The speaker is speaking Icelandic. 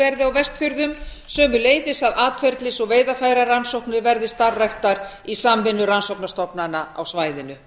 verði á vestfjörðum sömuleiðis að atferlis og veiðarfærarannsóknir verði starfræktar í samvinnu rannsóknastofnana á svæðinu